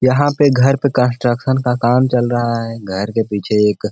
यहाँ पे घर का कंस्ट्रक्शन का काम चल रहा है। घर के पीछे एक --.